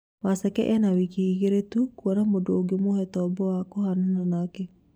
Waceke ena wiki igĩrĩ tu kuona mundu ũngemũhe tobo wa kũhanana nake